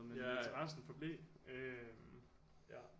Men interessen forblev øh